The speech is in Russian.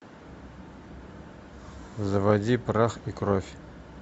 заводи прах и кровь